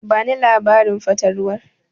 Bani labarin fatalwar.